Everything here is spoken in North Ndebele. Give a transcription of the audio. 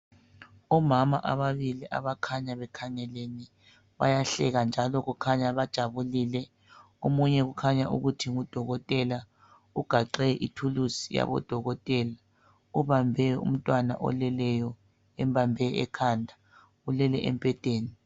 Omama ababili abakhanya bekhangelene bayahleka njalo kukhanya bajabulile, omunye ukhanya ukuthi ngudokotela, ugaxe ithuluzi yabodokotela ubambe umntwana oleleyo embambe ekhanda ulele embhedeni.